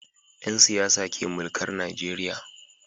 Yansiyasa ke mulkar Nigeria